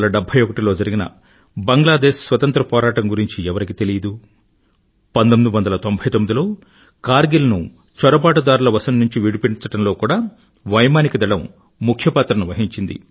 1971లో జరిగిన బంగ్లాదేశ్ స్వతంత్ర పోరాటం గురించి ఎవరికి తెలీదు 1999 లో కార్గిల్ ను చొరబాటుదారుల వశం నుండి విడిపించడంలో కూడా వైమానిక దళం ముఖ్య పాత్రను వహించింది